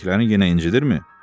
Böyrəklərini yenə incidirmi?